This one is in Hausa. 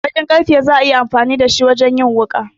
Bakin karfe za a yi amfani da shi wajen yin wuƙa.